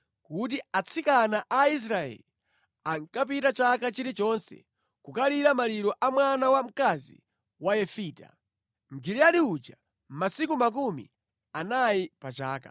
kuti atsikana a Israeli ankapita chaka chilichonse kukalira maliro a mwana wa mkazi wa Yefita, Mgiliyadi uja masiku makumi anayi pa chaka.